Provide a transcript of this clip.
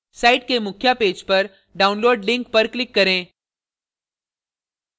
site के मुख्य page पर download link पर click करे